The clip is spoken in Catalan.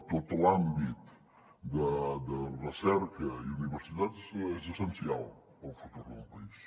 tot l’àmbit de recerca i universitats és essencial per al futur d’un país